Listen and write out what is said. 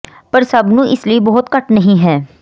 ਪਰ ਸਭ ਨੂੰ ਇਸ ਲਈ ਬਹੁਤ ਘੱਟ ਨਹੀ ਹੈ